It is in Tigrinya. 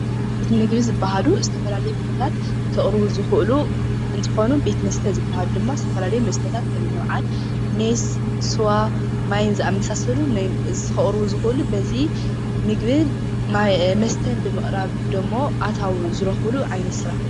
ቤት ምግቢ ዝባሃሉ ዝተፈላለዩ ምግብታት ከቅርቡ ዝክእሉ አንትኮኑ ቤት መስተ ዝበሃሉ ድማ ዝተፈላለዩ መስተታት ከምኒ በዓል ሜስ፣ ስዋ ማይን ዝኣመሰሉ ከቅርቡ ዝክእሉ በዚ ምግብን መስተን ብምቅራብ ደሞ ኣታዊ ዝረክብሉ ዓይነት ስራሕ እዩ።